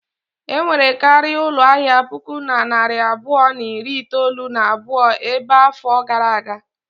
Enwere karịa ụlọ ahịa puku na narị abụọ na iri itolu na abụọ ebe a afọ gara aga.